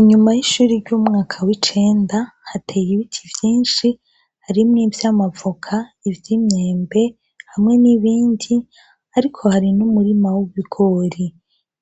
Inyuma y' ishure ry' umwaka w' icenda hari ibiti vyinshi harimwo ivy' amavoka ivy' imyembe hamwe n' ibindi ariko hariho n' umurima w' ibigori